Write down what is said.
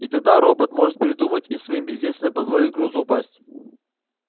и тогда робот может передумать и своим бездействием позволить грузу упасть